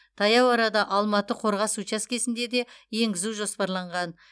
таяу арада алматы қорғас учаскесінде де енгізу жоспарланған